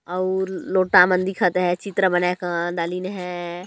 अऊ लोटा मन दिखत है चित्रा बना का है।